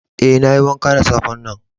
Eh, na yi wanka da safe'n nan.